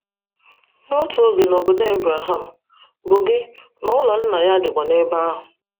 N'otu oge na "obodo" Abraham, bụ gị, na“ụlọ” nna ya dịkwa n’ebe ahụ.